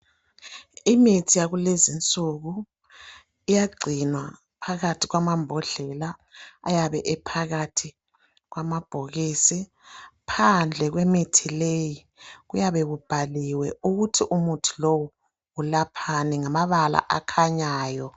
Imithi yakulezinsuku iyagcinwa phakathi kwamabhodlela ayabe ephakathi kwama bhokisi, phandle kwemithi leyi kuyabe kubhaliwe ukuthi umuthi lowu ulaphani ngamabala akhanyayo